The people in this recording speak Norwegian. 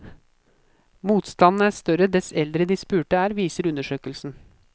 Motstanden er større dess eldre de spurte er, viser undersøkelsen.